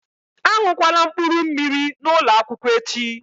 A ṅụkwala mkpụrụmmiri n'ụlọ akwụkwọ echi!